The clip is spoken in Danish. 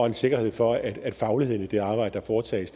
en sikkerhed for at fagligheden i det arbejde der foretages